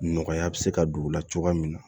Nɔgɔya bɛ se ka don o la cogoya min na